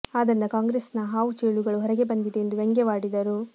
ಅದರಿಂದ ಕಾಂಗ್ರೆಸ್ ನ ಹಾವು ಚೇಳುಗಳು ಹೊರಗೆ ಬಂದಿದೆ ಎಂದು ವ್ಯಂಗ್ಯವಾಡಿದರು